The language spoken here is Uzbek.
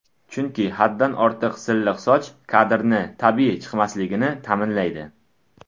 Chunki haddan ortiq silliq soch, kadrni tabiiy chiqmasligini ta’minlaydi.